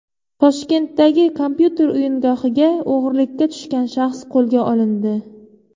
Toshkentdagi kompyuter o‘yingohiga o‘g‘irlikka tushgan shaxs qo‘lga olindi.